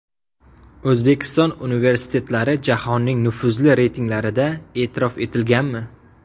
O‘zbekiston universitetlari jahonning nufuzli reytinglarida e’tirof etilganmi?